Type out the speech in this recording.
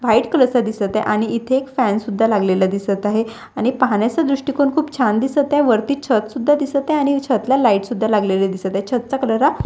White colour चा दिसत आहे आणि इथे एक फॅन सुद्धा लागलेला दिसत आहे आणि पाहण्याचा दृष्टिकोन खूप छान दिसत आहे. वरती छत सुद्धा दिसत आहे आणि छतला लाईट सुद्धा लागलेले दिसत आहे छतचा कलर हा--